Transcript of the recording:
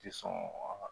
Ti sɔn